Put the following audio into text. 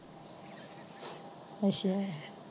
ਅੱਛਾ।